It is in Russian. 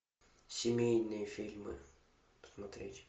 семейные фильмы посмотреть